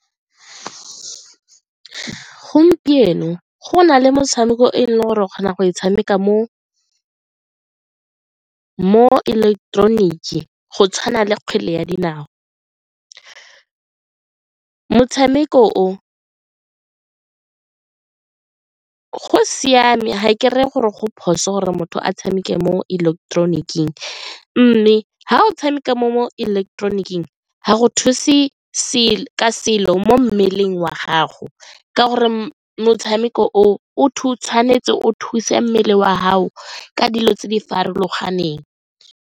Gompieno go na le motshameko e le gore o kgona go e tshameka mo ileketeroniki go tshwana le kgwele ya dinao, motshameko o go siame ga e ke reye gore go phoso gore motho a tshameke mo ileketeroniking mme ga o tshameka mo ga go thuse selo mo mmeleng wa gago ka gore motshameko o o tshwanetse o thuse mmele wa gago ka dilo tse di farologaneng.